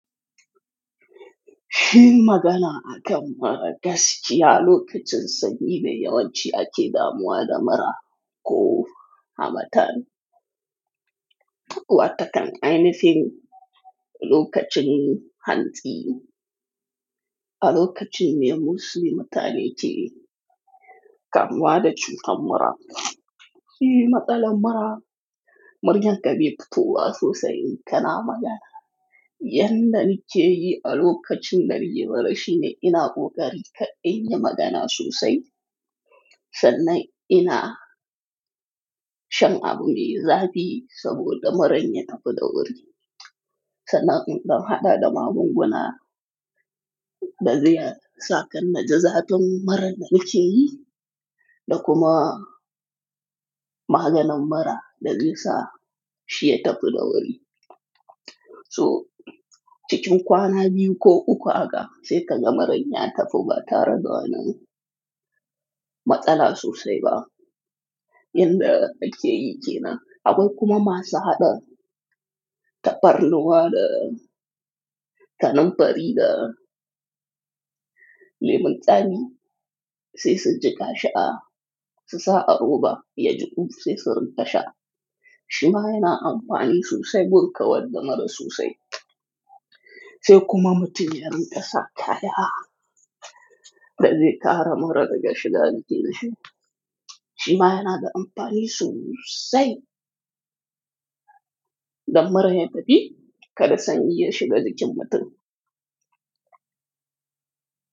Kinyi magana akan mura gaskiya, lokacin sanyi ne yawanci ake damuwa da mura ko hamatan. Wata kan ainihin lokacin hantsi, a lokacin ne yawanci mutane ce kan waɗansu kammara. Shi matsalar mara, muryar ka bai futowa sosai in kana magana. Yanda nake yi a lokacin da nake mura shine ina kokarin kar nayi magana sosai. Sannan ina shan abu mai zafi saboda muran ya tafi dawari. Sannan in dan hada da magunguna da zai sa kar naji zafin murar da nake yi da kuma maganin mura da zai sa shi ya tafi da wuri. So cikin kwana biyu ko uku haka sai ka ga muran ya ta fi ba tare da matsala sosai ba. Yanda nake yi kenan. Akwai kuma masu hada tafarnuwa da kananfari da lemon tsami sai su jika su sha. Susa a roba ya jiƙu sai su rinƙa sha. Shi ma yana amfani sosai gun kawar da mura sosai. Sai kuma mutum ya rinƙa sa kaya da zai kare mura daga shiga jikin shi. Shi ma yana da amfani sosai dan muran ya tafi kar sanyi ya shiga jikin mutum.